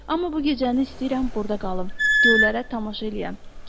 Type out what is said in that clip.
Amma bu gecəni istəyirəm burda qalım, göylərə tamaşa eləyəm.